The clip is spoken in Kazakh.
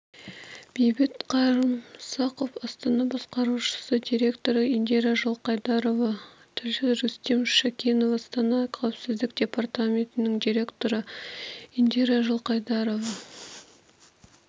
бейбіт қарымсақов астана басқарушы директоры индира жылқайдарова тілші рүстем шәкенов астана қауіпсіздік департаментінің директоры индира жылқайдарова